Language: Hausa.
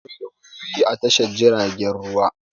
Akwai lauyoyi a Tashar jiaragen ruwa.